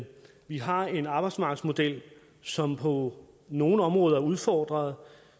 vi har en arbejdsmarkedsmodel som på nogle områder er udfordret